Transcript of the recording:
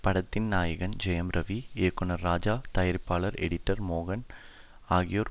படத்தின் நாயகன் ஜெயம் ரவி இயக்குனர் ராஜா தயாரிப்பாளர் எடிட்டர் மோகன் ஆகியோர்